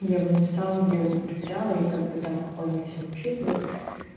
я его написала но я его не проверяла и как бы там он не всё учитывает